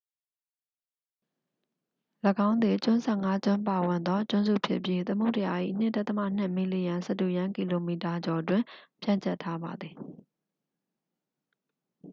၎င်းသည် ကျွန်း 15 ကျွန်းပါဝင်သောကျွန်းစုဖြစ်ပြီး သမုဒ္ဒရာ၏ 2.2 မီလီယံ စတုရန်းကီလိုမီတာ ကျော်တွင် ဖြန့်ကျက်ထားပါသည်